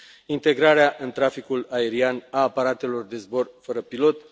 integrarea în traficul aerian a aparatelor de zbor fără pilot.